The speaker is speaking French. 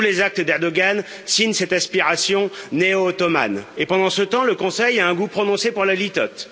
Tous les actes d'Erdoğan signent cette inspiration néo ottomane et pendant ce temps, le Conseil a un goût prononcé pour la litote.